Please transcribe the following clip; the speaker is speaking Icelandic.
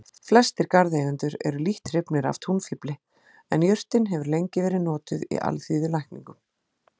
Flestir garðeigendur eru lítt hrifnir af túnfífli en jurtin hefur lengi verið notuð í alþýðulækningum.